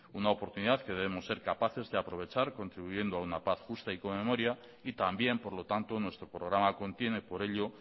una oportunidad que debemos ser capaces de aprovechar contribuyendo a una paz justa y con memoria y también por lo tanto nuestro programa contiene por ello